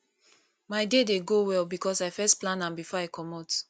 my day dey go well because i first plan am before i comot